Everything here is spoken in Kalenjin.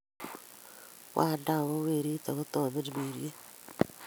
Kwanda ak ko Werit, ak ko Tamirmiriet,